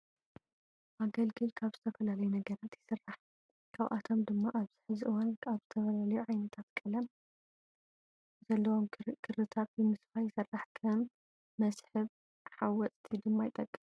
ኣገልግል ካብ ዝተፈላለዩ ነገራት ይስራሕ። ካብኣቶም ድማ ኣብዚ ሕዚ እዋን ካብ ዝተፈላለዩ ዓይነታት ቀለም ዘለዎም ክሪታት ብምስፋይ ይስራሕ። ከም መስህብ ሓወፅቲ ድማ ይጠቅም።